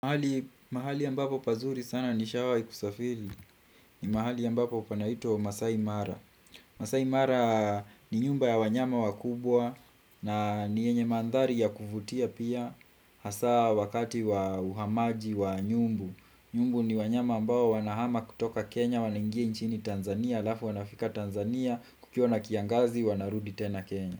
Mahali ya ambapo pazuri sana nishawai kusafili ni mahali ya ambapo panaitwa Masaimara Masaimara ni nyumba ya wanyama wakubwa na ni yenye mandhari ya kufutia pia Hasa wakati wa uhamaji wa nyumbu Nyumbu ni wanyama ambao wanahama kutoka Kenya Wanaingia nchini Tanzania alafu wanafika Tanzania Kukiona kiangazi wanarudi tena Kenya.